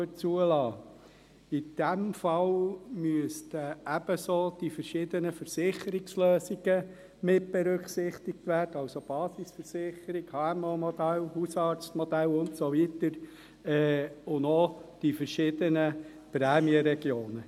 In diesem Fall müssten ebenso die verschiedenen Versicherungslösungen mitberücksichtigt werden, das heisst, die Basisversicherung, das HMOModell, das Hausarztmodell und so weiter, sowie die verschiedenen Prämienregionen.